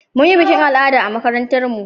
Mun yi bikin al'ada a makarantar mu